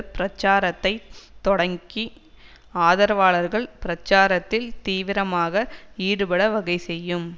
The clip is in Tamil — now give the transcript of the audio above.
பிரச்சாரத்தைத் தொடக்கி ஆதரவாளர்கள் பிரச்சாரத்தில் தீவிரமாக ஈடுபட வகை செய்யும்